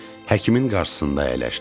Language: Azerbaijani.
Həkimin qarşısında əyləşdim.